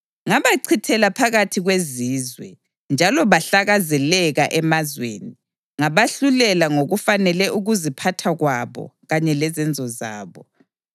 Ngabachithela phakathi kwezizwe, njalo bahlakazekela emazweni; ngabahlulela ngokufanele ukuziphatha kwabo kanye lezenzo zabo.